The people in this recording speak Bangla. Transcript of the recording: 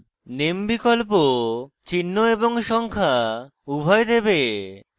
name বিকল্প চিহ্ন এবং সংখ্যা উভয় দেবে